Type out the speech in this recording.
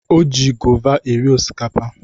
O ji gova eri osikapa.